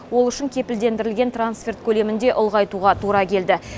ол үшін кепілдендірілген трансферт көлемін де ұлғайтуға тура келді